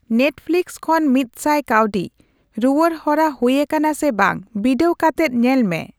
Netflix ᱠᱷᱚᱱ ᱢᱤᱫᱥᱟᱭ ᱠᱟᱹᱣᱰᱤ ᱨᱩᱣᱟᱹᱲ ᱦᱚᱨᱟ ᱦᱩᱭᱟᱠᱟᱱᱟ ᱥᱮ ᱵᱟᱝ ᱵᱤᱰᱟᱹᱣ ᱠᱟᱛᱮᱫ ᱧᱮᱞ ᱢᱮ !